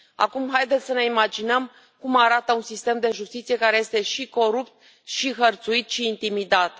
Acum haideți să ne imaginăm cum arată un sistem de justiție care este și corupt și hărțuit și intimidat.